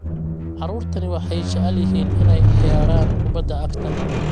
Carruurtani waxay jecel yihiin inay ciyaaraan kubbadda cagta